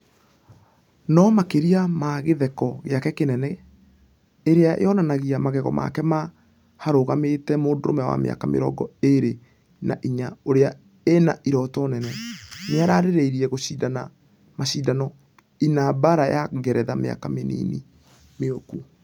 Nũ makĩria ma gĩtheko gĩake kĩnene ĩrĩa yonanagia magego make ma....., harũgamĩte mũndũrũme wa mĩaka mĩrongo ĩrĩ na inya ũrĩa ĩna iroto nene . Nĩaraerireria gũshidana mashidano-inĩbaara ya ngeretha mĩaka mĩnini mĩũku.